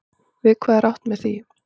Við hvað er átt með því?